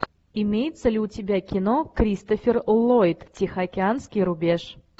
имеется ли у тебя кино кристофер ллойд тихоокеанский рубеж